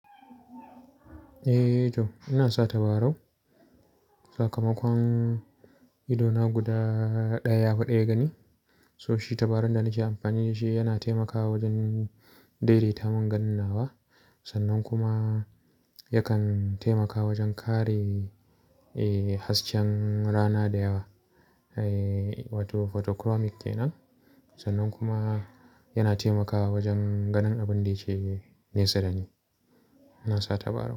Eh to ina sa tabarau. Sakamakon ido na guda ɗaya ya faɗe gani. So shi tabarun da nake amfani da shi yana taimakawa wajen daidaita mun ganin nawa. Sannan kuma yakan taimakawa wajen kare, eh hasken rana da yawa. Eh wato photochromic kenan. Sannan kuma yana taimakawa wajen ganin abin da yake nesa da ni. Ina sa tabarau.